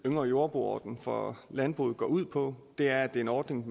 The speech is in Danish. yngre jordbruger ordningen for landbruget går ud på er det er en ordning